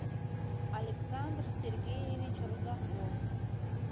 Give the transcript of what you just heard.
александр сергеевич рудаков